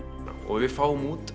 og við fáum út